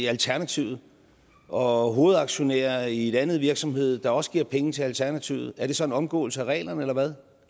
alternativet og hovedaktionær i en anden virksomhed der også giver penge til alternativet er det så en omgåelse af reglerne eller hvad